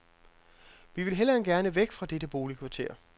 Vi vil hellere end gerne væk fra dette boligkvarter.